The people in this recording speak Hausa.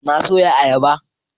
Na soya ayaba